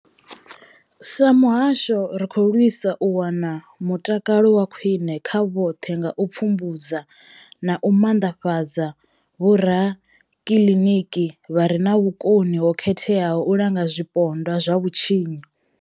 Sa muhasho, ri khou lwisa u wana mutakalo wa khwine kha vhoṱhe nga u pfumbudza na u maanḓafhadza vhorakiliniki vha re na vhukoni ho khetheaho u langa zwipondwa zwa vhutshinyi.